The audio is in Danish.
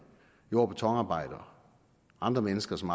jord og betonarbejdere og andre mennesker som